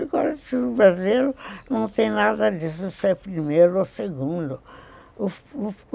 O Código Civil Brasileiro não tem nada disso de ser primeiro ou segundo.